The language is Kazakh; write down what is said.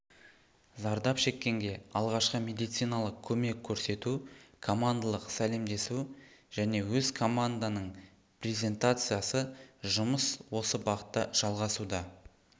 зардап шеккенге алғашқы медициналық көмек көрсету командалық сәлемдесу және өз команданың призентациясы жұмыс осы бағытта жалғасуда